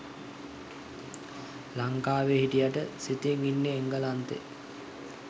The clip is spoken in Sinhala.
ලංකාවෙ හිටියට සිතිං ඉන්නෙ එංගලන්තෙ